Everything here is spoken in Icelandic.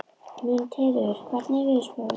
Mundheiður, hvernig er veðurspáin?